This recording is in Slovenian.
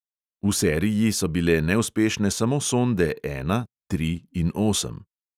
V seriji so bile neuspešne samo sonde ena, tri in osem.